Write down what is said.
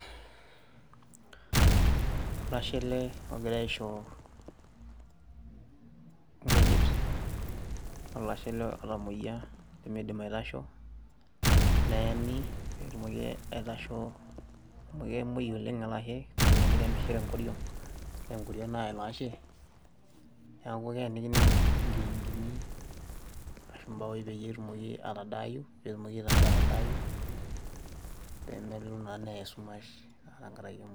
Olashe ele ogira aisho ngujit. Olashe ele otamoyia nemeidim aitasho, neeni pee etumoki aitasho amu keemoi oleng' ele ashe niyiolo ninye ajo kemishira engoriong' naa engoriong' naya ilo ashe, neaku keenakini nkiinkini aashu mbaoi peyie etumoki atadaayu pee etumoki aitasho atadaayu, pee melo naa neya esumash enkarake emoi.